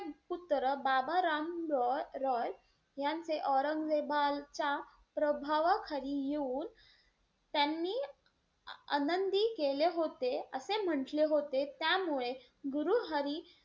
पुत्र बाबा राम रॉय यांचे औरंगजेबाच्या प्रभावाखाली येऊन त्यांनी आनंदी केले होते, असे म्हणले होते त्यामुळे गुरु हरी,